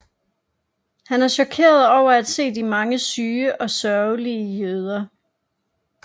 Han er chokeret over at se de mange syge og sørgelige jøder